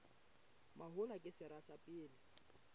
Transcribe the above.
mahola ke sera sa pele